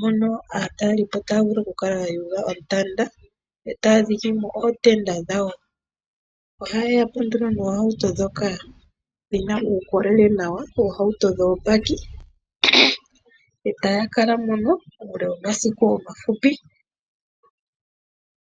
hono aatalelipo taya vulu okukala ya yuga ontanda e taya dhike mo ootenda dhawo. Ohayeya po nduno noohauto dhoka dhina uukolele nawa, oohauto dhoobakkie e taya kala mono uule womasiku omafupi.